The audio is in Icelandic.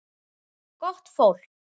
Gott fólk.